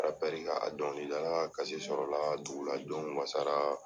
ka a dɔnkilidala ka sɔrɔ la a ka dugu la jɔn wasara.